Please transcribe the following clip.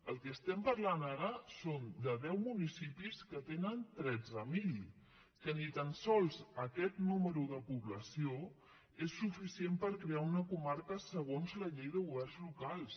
del que estem parlant ara és de deu municipis que en tenen tretze mil que ni tan sols aquest número de població és suficient per crear una comarca segons la llei de governs locals